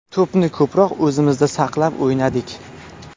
To‘pni ko‘proq o‘zimizda saqlab o‘ynadik.